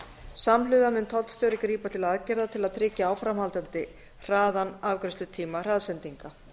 samhliða mun tollstjóri grípa til aðgerða til að tryggja áframhaldandi hraðan afgreiðslutíma hraðsendinga